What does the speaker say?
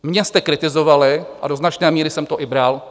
Mě jste kritizovali a do značné míry jsem to i bral.